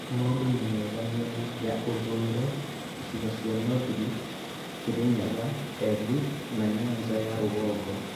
Maũndũ nĩ mega miena ya ithũĩro, icigo cia North Rift, Kirinyaga, Embu, na Nyanza ya rũgongo